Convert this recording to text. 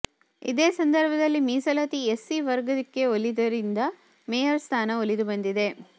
ಇದೇ ಸಂದರ್ಭದಲ್ಲಿ ಮೀಸಲಾತಿ ಎಸ್ಸಿ ವರ್ಗಕ್ಕೆ ಒಲಿದದ್ದರಿಂದ ಮೇಯರ್ ಸ್ಥಾನ ಒಲಿದು ಬಂದಿದೆ